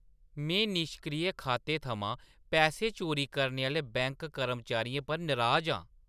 में निश्क्रिय खातें थमां पैसे चोरी करने आह्‌ले बैंक कर्मचारियें पर नराज आं।